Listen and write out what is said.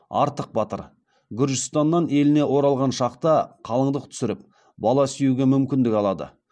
артық батыр гүржістаннан еліне оралған шақта қалыңдық түсіріп бала сүюге мүмкіндік алады